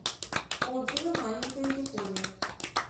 отзывы маленькая япония